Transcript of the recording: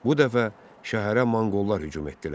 Bu dəfə şəhərə monqollar hücum etdilər.